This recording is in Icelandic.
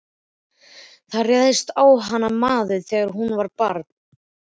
Það réðst á hana maður þegar hún var barn.